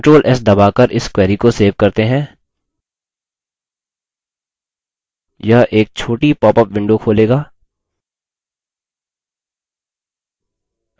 अगला control s दबाकर इस query को सेव करते हैं यह एक छोटी पॉपअप window खोलेगा